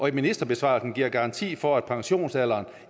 at ministerbesvarelsen giver garanti for at pensionsalderen